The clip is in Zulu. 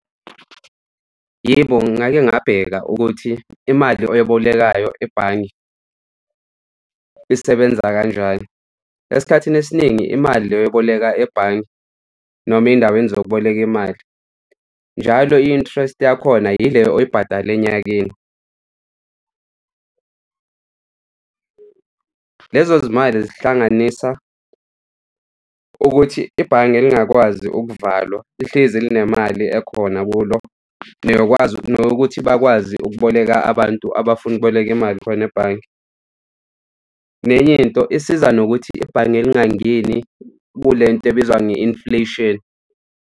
Yebo, ngake ngabheka ukuthi imali oyibolekayo ebhange isebenza kanjani. Esikhathini esiningi imali leyo oyiboleka ebhange noma ey'ndaweni zokuboleka imali, njalo i-interest yakhona yile oyibhadala onyakeni. Lezo zimali zihlanganisa ukuthi ibhange lingakwazi ukuvalwa lihlezi linemali ekhona kulo, neyokwazi nokuthi bakwazi ukuboleka abantu abafuna ukuboleka imali khona ebhange. Nenye into isiza nokuthi ibhange lingangeni kule nto ebizwa nge-inflation.